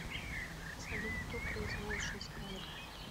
салют кто производит шесть кадров